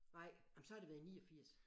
Nej jamen så har det været i 89